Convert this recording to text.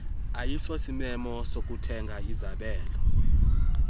ayisosimemo sokuthenga izabelo